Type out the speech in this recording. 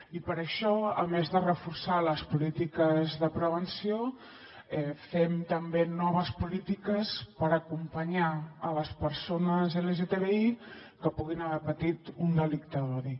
i per això a més de reforçar les polítiques de prevenció fem també noves polítiques per acompanyar les persones lgtbi que puguin haver patit un delicte d’odi